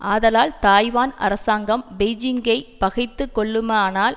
ஆதலால் தாய்வான் அரசாங்கம் பெய்ஜிங்கை பகைத்து கொள்ளுமானால்